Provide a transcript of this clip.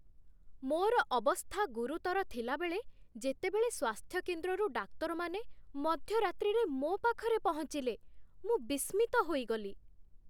ମୋର ଅବସ୍ଥା ଗୁରୁତର ଥିଲାବେଳେ ଯେତେବେଳେ ସ୍ୱାସ୍ଥ୍ୟକେନ୍ଦ୍ରରୁ ଡାକ୍ତରମାନେ ମଧ୍ୟରାତ୍ରିରେ ମୋ ପାଖରେ ପହଞ୍ଚିଲେ, ମୁଁ ବିସ୍ମିତ ହୋଇଗଲି।